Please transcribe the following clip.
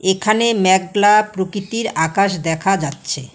এখানে মেগলা প্রকৃতির আকাশ দেখা যাচ্ছে।